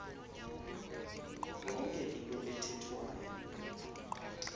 yonke into ethethwayo